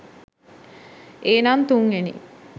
ඒනං තුන්වෙනි